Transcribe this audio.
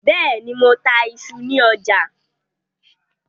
Bẹ́ẹ̀ ní, mo ta iṣu ní ọ̀jà.